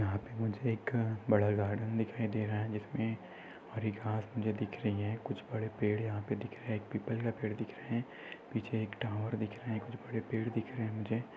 यहा पे मुजे एक बड़ा गार्डन दिखाई दे रहा है जीसमे हरी घास मुजे दिख रही है कुछ बड़े पेड़ यहा पे दिख रहे है एक पीपल का पेड़ दिख रहा है पीछे येक टावर दिख रहा है कुछ बड़े पेढ दिख रहे है मुजे।